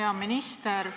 Hea minister!